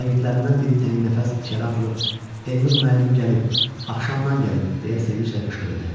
Şagirdlərindən biri tənginəfəs içəri atılıb, Elnur müəllim gəlib, axşamdan gəlib deyə sevinclə qışqırdı.